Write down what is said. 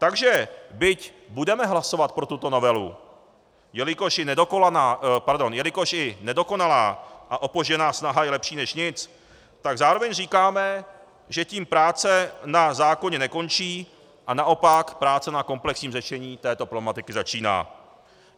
Takže byť budeme hlasovat pro tuto novelu, jelikož i nedokonalá a opožděná snaha je lepší než nic, tak zároveň říkáme, že tím práce na zákoně nekončí a naopak práce na komplexním řešení této problematiky začíná.